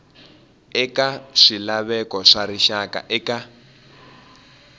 eka swilaveko swa rixaka eka